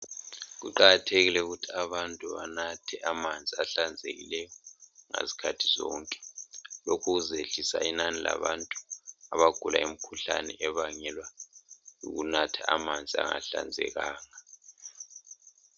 Kuqakathekile ukuthi abantu benathe amanzi ahlanzekileyo ngezikhathi zonke lokhu kuzayehlisa inani labantu abagula imkhuhlane ebangelwa yikunatha amanzi angahlanzekanga